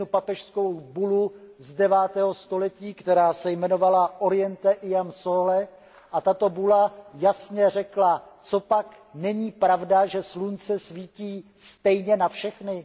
jednu papežskou bulu z 9. století, která se jmenovala Oriente ian sole a tato bula jasně řekla Copak není pravda, že slunce svítí stejně na všechny?